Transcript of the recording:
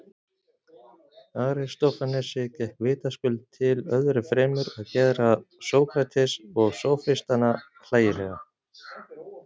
Aristófanesi gekk vitaskuld til öðru fremur að gera Sókrates og sófistana hlægilega.